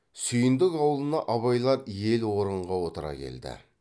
сүйіндік аулына абайлар ел орынға отыра келді